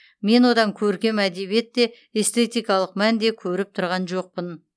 мен одан көркем әдебиет те эстетикалық мән де көріп тұрған жоқпын